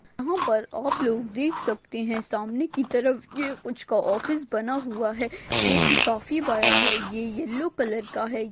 यहा पर आप लोग देख सखते है सामने कि तरफ ये कुछ का ऑफिस बना हुआ है जो कि काफी बड़ा है ये येल्लो कलर का है।